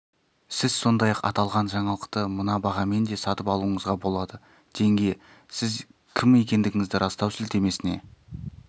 сіз сондай-ақ аталған жаңалықты мына бағамен де сатып алуыңызға болады теңге сіз кім екендігіңізді растау сілтемесіне